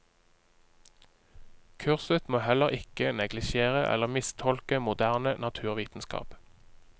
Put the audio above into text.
Kurset må heller ikke neglisjere eller mistolke moderne naturvitenskap.